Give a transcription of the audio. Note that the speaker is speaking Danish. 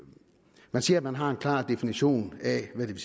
man siger at man har en klar definition af hvad det